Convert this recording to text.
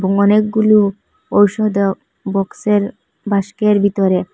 অনেকগুলু ঔষধ বক্সের বাস্কের ভিতরে।